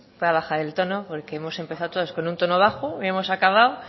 voy a bajar el tono porque hemos empezado todos con un tono bajo y hemos acabado